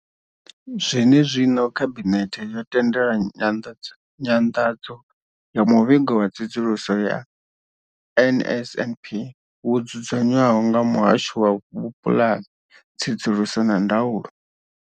Zwenezwino, Khabinethe yo tendela nyanḓadzo ya muvhigo wa tsedzuluso ya NSNP wo dzudzanywaho nga muhasho wa vhupulani, tsedzuluso na ndaulo.